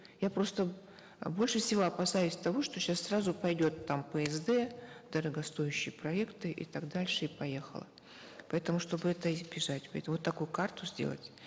я просто э больше всего опасаюсь того что сейчас сразу пойдет там псд дорогостоящие проекты и так дальше и поехало поэтому чтобы это избежать вот такую карту сделать